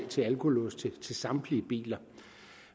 til alkolåse til samtlige biler